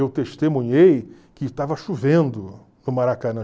Eu testemunhei que estava chovendo no Maracanã.